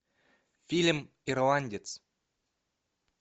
фильм ирландец